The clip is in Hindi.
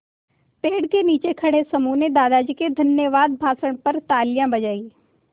पेड़ के नीचे खड़े समूह ने दादाजी के धन्यवाद भाषण पर तालियाँ बजाईं